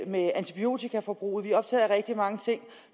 med antibiotikaforbruget vi er optaget af rigtig mange ting